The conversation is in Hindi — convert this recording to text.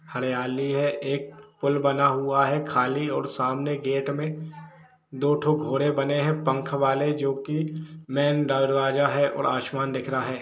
हरियाली है एक पूल बना हुआ है खाली और सामने गेट मे दो थो घोड़े बने हैँ पंख वाले जो कि मैन दरवाजा हैँ और आसमान दिख रहा है।